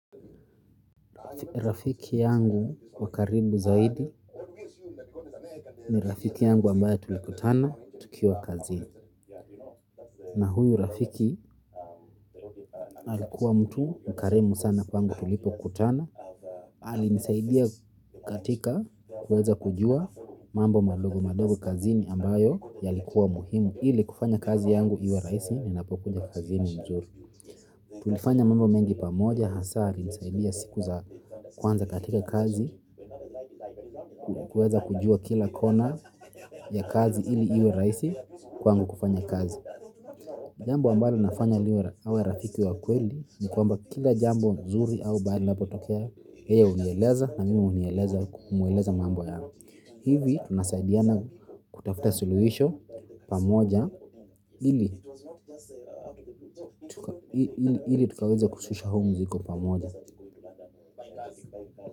Rafiki yangu wa karibu zaidi ni rafiki yangu ambaye tulikutana tukiwa kazini. Na huyu rafiki alikuwa mtu mkarimu sana kwangu tulipokutana. Alinisaidia katika kuweza kujua mambo madogo madogo kazini ambayo yalikuwa muhimu. Ili kufanya kazi yangu iwe rahisi ninapokuja kazini. Tulifanya mambo mengi pamoja hasa alinisaidia siku za kwanza katika kazi kuweza kujua kila kona ya kazi ili iwe rahisi kwangu kufanya kazi. Jambo ambalo inafanya iwe rafiki wa kweli ni kwamba kila jambo zuri au baya linapotokea yeye hunieleza na mimi humweleza mambo yangu. Hivi tunasaidiana kutafuta suluhisho pamoja ili tukaweze kushusha humu ziko pamoja.